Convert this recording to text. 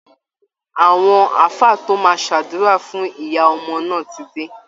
Àwọn ààfáà tó máa ṣàsúra fún ìyá ọmọ náà ti dé